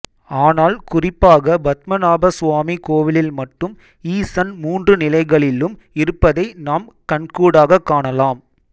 ஆனால் குறிப்பாக பத்மநாபசுவாமி கோவிலில் மட்டும் ஈசன் மூன்று நிலைகளிலும் இருப்பதை நாம் கண்கூடாகக் காணலாம்